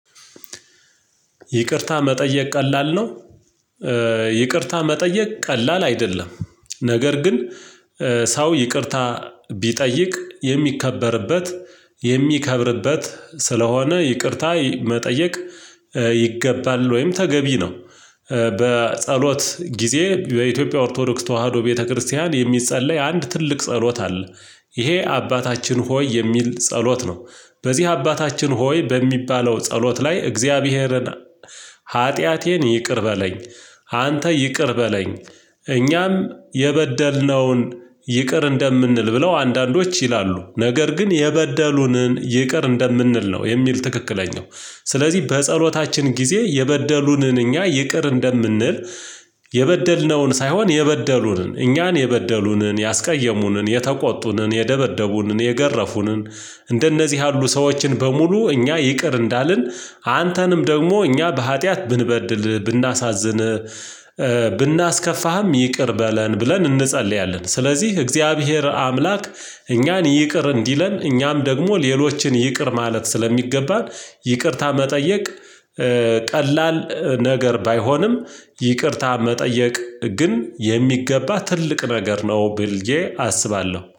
ይቅርታ መጠየቅ ቀላል ነው። ይቅርታ መጠየቅ ቀላል አይደለም። ነገር ግን ሰው ይቅርታ ቢጠይቅ የሚከበርበት የሚከብርበት ስለሆነ ይቅርታ መጠየቅ ይገባል። ወይም ተገቢ ነው። በጸሎት ጊዜ በኢትዮጵያ ኦርቶዶክስ ተዋህዶ ቤተክርስቲያን የሚጸለይ አንድ ትልቅ ጸሎት አለ። ይሄ አባታችን ሆይ የሚል ጸሎት ነው። በዚህ አባታችን ሆይ በሚባለው ጸሎት ላይ እግዚአብሔርን ኃጢአቴን ይቅር በለኝ። አንተ ይቅር በለኝ እኛም የበደልነውን ይቅር እንደምንል ብለው አንዳንዶች ይላሉ። ነገር ግን የበደሉንን ይቅር እንደምንል ነው የሚል ትክክለኛው። ስለዚህ በጸሎታችን ጊዜ የበደሉንን እኛ ይቅር እንደምንል። የበደልነውን ሳይሆን የበደሉንን እኛን የበደሉንን ያስቀየሙንን የተቆጡንን የደበደቡንን የገረፉንን። እንደነዚህ ያሉ ሰዎችን በሙሉ እኛ ይቅር እንዳልን አንተንም ደግሞ እኛ በሀጥያት ብንበድልህ ብናሳዝንህ ብናስከፋህም ይቅር በለን ብለን እንጸልያለን። ስለዚህ እግዚአብሔር አምላክ እኛን ይቅር እንዲለን እኛም ደግሞ ሌሎችን ይቅር ማለት ስለሚገባን። ይቅርታ መጠየቅ። ቀላል ነገር ባይሆንም ይቅርታ መጠየቅ ግን የሚገባ ትልቅ ነገር ነው ብልዬ አስባለሁ